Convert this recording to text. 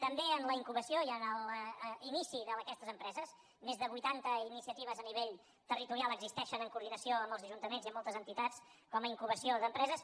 també en la incubació i en l’inici d’aquestes empreses més de vuitanta iniciatives a nivell territorial existeixen en coordinació amb els ajuntaments i amb moltes entitats com a incubació d’empreses